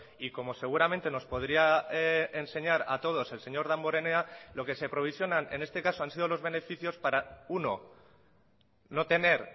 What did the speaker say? y como seguramente nos podría enseñar a todos el señor damborenea lo que se provisionan en este caso han sido los beneficios para uno no tener